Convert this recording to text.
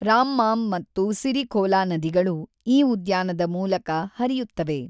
ರಾಮ್ಮಾಮ್ ಮತ್ತು ಸಿರಿಖೋಲಾ ನದಿಗಳು ಈ ಉದ್ಯಾನದ ಮೂಲಕ ಹರಿಯುತ್ತವೆ.